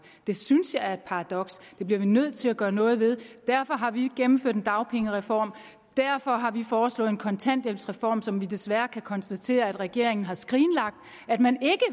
det synes jeg er et paradoks det bliver vi nødt til at gøre noget ved og derfor har vi gennemført en dagpengereform derfor har vi foreslået en kontanthjælpsreform som vi desværre kan konstatere at regeringen har skrinlagt man